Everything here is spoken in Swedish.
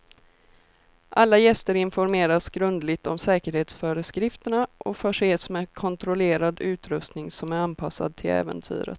Alla gäster informeras grundligt om säkerhetsföreskrifterna och förses med kontrollerad utrustning som är anpassad till äventyret.